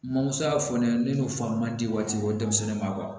Mamuso y'a fɔ ne ɲɛna ne n'u fa man di waati bɔ denmisɛnnin ma